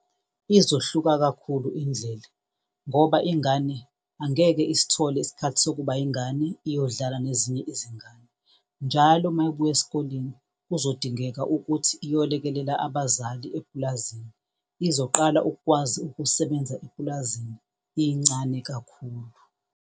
Izohluka kakhulu indlela ngoba ingane angeke isithole isikhathi sokuba yingane iyodlala nezinye izingane. Njalo mayebuya esikoleni kuzodingeka ukuthi iyolekelela abazali epulazini, izoqala ukukwazi ukusebenza epulazini incane kakhulu.